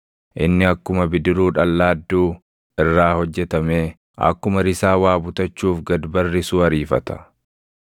Inni akkuma bidiruu dhallaadduu irraa hojjetamee, akkuma risaa waa butachuuf gad barrisuu ariifata.